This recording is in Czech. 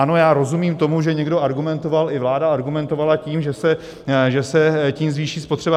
Ano, já rozumím tomu, že někdo argumentoval, i vláda argumentovala tím, že se tím zvýší spotřeba.